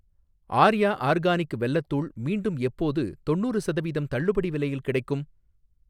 Arya organic வெல்லத் தூள் மீண்டும் எப்போது தொண்ணூறு சதவீதம் தள்ளுபடி விலையில் கிடைக்கும்?